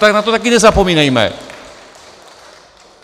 Tak na to taky nezapomínejme.